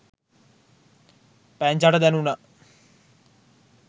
පැංචට දැණුනා